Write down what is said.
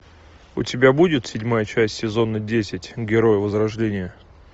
у тебя будет седьмая часть сезона десять герои возрождения